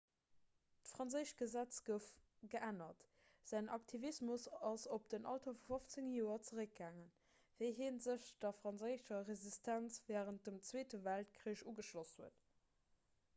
d'franséischt gesetz gouf geännert säin aktivismus ass op den alter vu 15 joer zeréckgaangen wéi hie sech der franséischer resistenz wärend dem zweete weltkrich ugeschloss huet